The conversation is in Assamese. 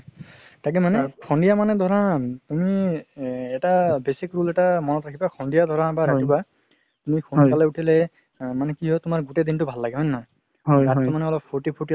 তাকেই মানে সন্ধিয়া মানে ধৰা তুমি এ এটা basic rule এটা মনত ৰাখিবা সন্ধিয়া ধৰা বা ৰাতিপুৱাই তুমি সোন্কালে উথিলে মানে কি হয় তুমাৰ গুতেই দিনতো ভাল লাগে হয় নে নহয় অলপ ফুৰ্তি ফুৰ্তি লাগে